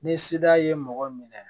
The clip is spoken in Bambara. Ni seda ye mɔgɔ minɛ